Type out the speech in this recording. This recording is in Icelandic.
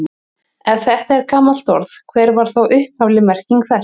Ef þetta er gamalt orð, hver var þá upphafleg merking þess?